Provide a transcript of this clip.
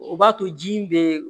O b'a to ji in bɛ